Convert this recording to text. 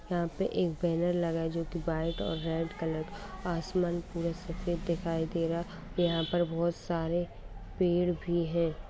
यहाँ पर एक बैनर लगा है जो की वाइ और रेड कलर का है असमान पूरा सफेद दिखाई दे रहा है यहाँ पर बहुत सारे पेड़ भी है |